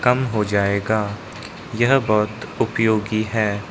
हो जाएगा यह बहुत उपयोगी है।